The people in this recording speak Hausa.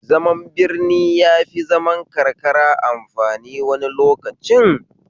Zaman birni yafi zaman karka amfani wani lokacin